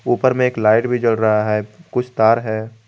ऊपर में एक लाइट भी जल रहा है कुछ तार है।